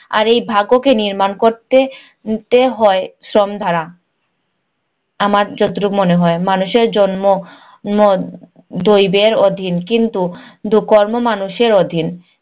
আর এই ভাগ্যকে নির্মাণ করতে তে হয় শ্রম দ্বারা। আমার যতটুক মনে হয়, মানুষের জন্ম ম দৈবের অধীন কিন্তু কর্ম মানুষের অধীন।